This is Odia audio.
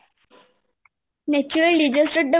natural disaster ଟା